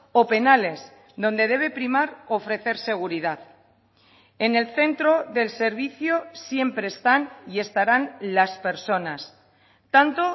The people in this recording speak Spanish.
o penales donde debe primar ofrecer seguridad en el centro del servicio siempre están y estarán las personas tanto